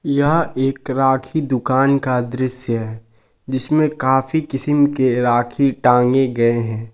यह एक राखी दुकान का दृश्य है जिसमें काफी किस्म के राखी टांगे गए हैं।